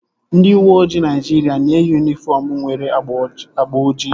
Ndị uweojii Naịjiria na-eyi yunifọm nwere agba ojii